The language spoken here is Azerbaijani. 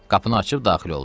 Qapını açıb daxil oldu.